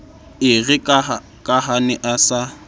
erekaha a ne a sa